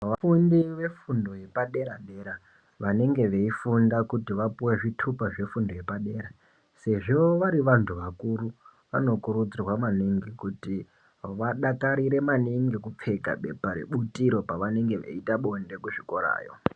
Vafundi vefundo yepadera dera vanenge veifunda kuti vapuwe zvitupa zvefundo yepadera sezvo vari vantu vakuru vanokurudzirwa maningi kuti vadakarire maningi kupfeka pepa rebutiro pavanenge veita bonde kuzvikorawo.